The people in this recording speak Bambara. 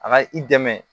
A ka i dɛmɛ